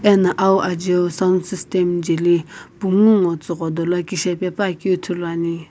ena awu ajeu sound system jeli pungu ngo tsugho dolo kishepe puakeu ithuluani.